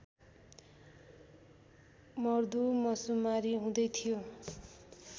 मर्दुमशुमारी हुँदै थियो